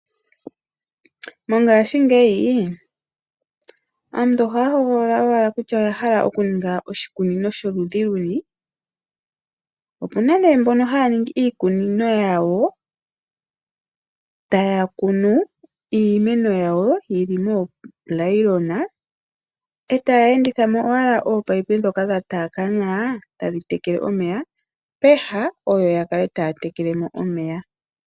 Mongashingeyi aantu ohaya hogolola owala kutya oyahala okuninga oshikunino sholudhi luni, opuna ne mbono haya ningi iikunino yawo taya kunu iimeno yawo yili moonayilona e taya endithamo owala ominino dhoka dhataakana tadhi tekele omeya peha oyo yakale taya tekele mo omeya.